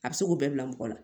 A bɛ se k'o bɛɛ bila mɔgɔ la